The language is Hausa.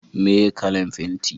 meye kalan fenti?